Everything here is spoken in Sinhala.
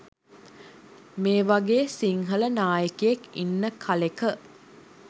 මේවගේ සිංහල නායකයෙක් ඉන්න කලෙක